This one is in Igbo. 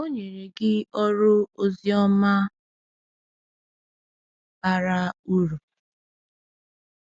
O nyere gị ọrụ ozioma bara uru.”